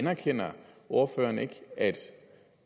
anerkender ordføreren ikke at